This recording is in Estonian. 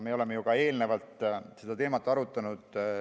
Me oleme ju ka eelnevalt seda teemat arutanud.